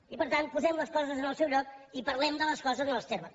i per tant posem les coses en el seu lloc i parlem de les coses en els termes